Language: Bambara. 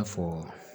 fɔ